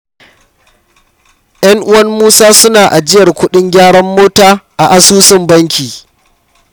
Ƴan'uwan Musa suna ajiyar kuɗin gyaran mota a asusun banki.